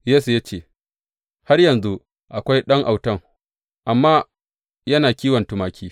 Yesse ya ce, Har yanzu akwai ɗan autan, amma yana kiwon tumaki.